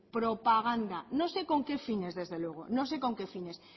propaganda no sé con qué fines desde luego no sé con qué fines